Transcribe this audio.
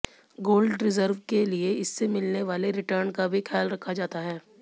gold reserve के लिए इससे मिलने वाले रिटर्न का भी ख्याल रखा जाता है